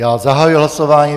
Já zahajuji hlasování.